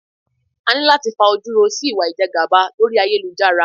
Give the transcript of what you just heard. A ní láti fajúro sí ìwà ìjẹgàba lórí ayélujára.